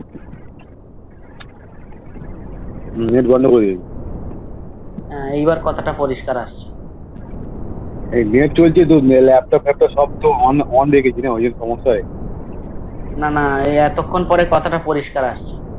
Net বন্ধ করে দিবো Net তো হচ্ছে তোর মেলা এতশত অন রেকেছিনা